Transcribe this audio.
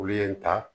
Olu ye n ta